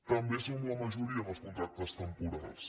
també som la majoria en els contractes temporals